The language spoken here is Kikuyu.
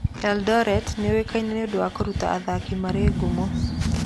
Eldoret nĩ ĩũĩkaine nĩ ũndũ wa kũruta athaki marĩ ngumo mũno.